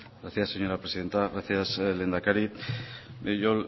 gracias señora presidenta gracias lehendakari yo